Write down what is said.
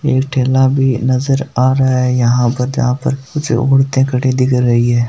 एक ठेला भी नजर आ रहा है यहाँ पर जहाँ पर कुछ औरतें खड़े दिख रही है।